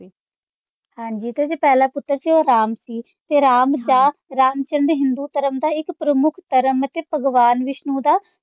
ਹਾਂਜੀ ਤੇ ਜਿਹੜਾ ਪਹਿਲਾ ਪੁੱਤਰ ਸੀ ਉਹ ਰਾਮ ਸੀ, ਤੇ ਰਾਮ ਦਾ ਰਾਮਚੰਦ ਹਿੰਦੂ ਧਰਮ ਇੱਕ ਪ੍ਰਮੁੱਖ ਧਰਮ ਹੈ ਤੇ ਭਗਵਾਨ ਵਿਸ਼ਨੂੰ ਦਾ